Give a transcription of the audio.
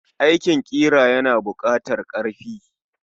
Aikin ƙira yana bukatar karfi.